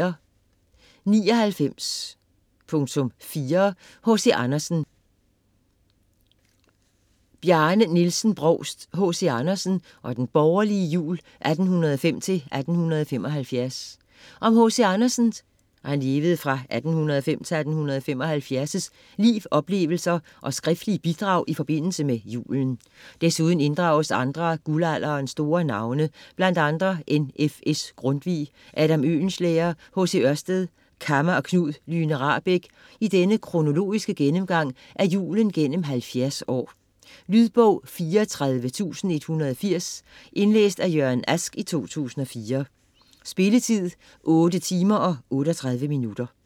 99.4 Andersen, H. C. Brovst, Bjarne Nielsen: H.C. Andersen og den borgerlige jul: 1805-1875 Om H.C. Andersens (1805-1875) liv, oplevelser og skriftlige bidrag i forbindelse med julen. Desuden inddrages andre af guldalderens store navne, bl.a. N.F.S. Grundtvig, Adam Oehlenschlæger, H.C. Ørsted, Kamma og Knud Lyhne Rahbek i denne kronologiske gennemgang af julen gennem 70 år. Lydbog 34180 Indlæst af Jørgen Ask, 2004. Spilletid: 8 timer, 38 minutter.